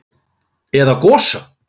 Eða Gosa?